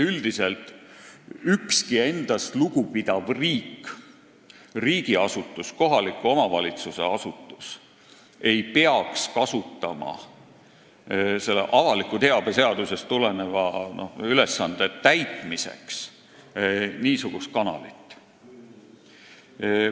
Üldiselt ükski endast lugupidav riik, st riigiasutus ega kohaliku omavalitsuse asutus, ei peaks kasutama avaliku teabe seadusest tuleneva ülesande täitmiseks niisugust kanalit.